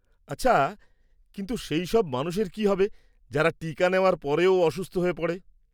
আচ্ছা, কিন্তু সেই সব মানুষের কী হবে যারা টিকা নেওয়ার পরেও অসুস্থ হয়ে পড়ে?